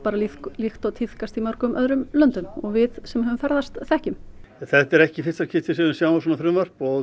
líkt og tíðkast í mörgum öðrum löndum og við sem höfum ferðast þekkjum þetta er ekki í fyrsta skipti sem við sjáum svona frumvarp og